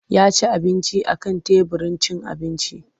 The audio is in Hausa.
Ya ci abinci a kan teburin cin abinci.